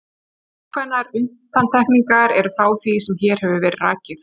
ákveðnar undantekningar eru frá því sem hér hefur verið rakið